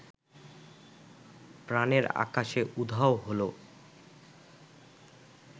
প্রাণের আকাশে উধাও হলো